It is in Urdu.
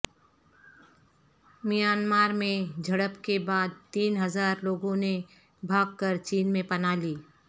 میانمار میں جھڑپ کے بعد تین ہزار لوگوں نے بھاگ کر چین میں پناہ لی